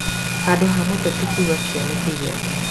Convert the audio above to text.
Handũ ha mũteti kuga kĩoneki gĩake